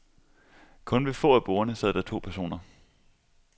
Kun ved få af bordene sad der to personer.